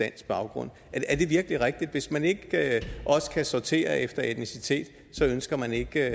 baggrund er det virkelig rigtigt hvis man ikke også kan sortere efter etnicitet så ønsker man ikke